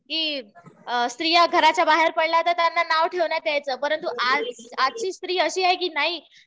कि स्त्रिया घराच्या बाहेर पडल्या तर त्यांना नाव ठेवण्यात यायचं. पण आजची स्त्री अशी आहे कि नाही